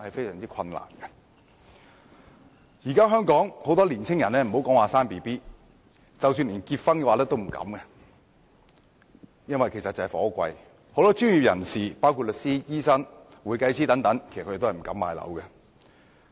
現時很多年輕人別說生育，他們連結婚也不敢，原因就是樓價高昂，很多專業人士包括律師、醫生和會計師也不敢買樓。